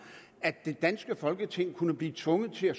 at det danske folketing kunne blive tvunget til at